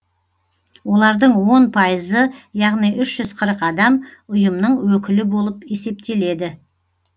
олардың он пайызы яғни үш жүз қырық адам ұйымның өкілі болып есептеледі